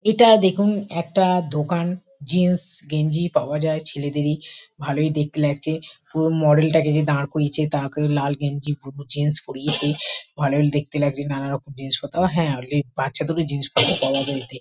এটা দেখুন একটা দোকান। জিন্স গেঞ্জি পাওয়া যায় ছেলেদেরই। ভালোই দেখতে লাগছে। পুরো মডেল টাকে যে দাঁড় করিয়েছে তাকে লাল গেঞ্জি বুলু জিন্স পড়িয়েছে। ভালোই দেখতে লাগছে। নানারকম জিনিসপত্র ও হ্যা অলি বাচ্চাদেরও জিনিসপত্র পাওয়া যায় এতে।